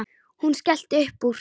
Hún skellti upp úr.